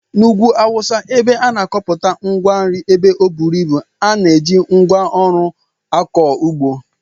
N'ugwu awụsa, ebe a na-akọpụta ngwa nri ebe ọ buru ibu, a na-eji ngwa ọrụ akọ ụgbọ